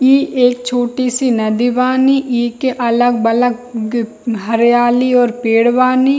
इ एक छोटी-सी नदी बानी इ के अलग-अलग हरियाली और पेड़ बानी।